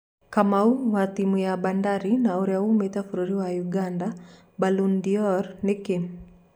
Kamau(wa timũ ya Bandari na ũrĩa wumĩte bũrũri wa Ũganda) Ballon d'or nĩkĩ?